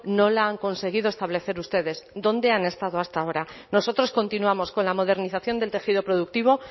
no la han conseguido establecer ustedes dónde han estado hasta ahora nosotros continuamos con la modernización del tejido productivo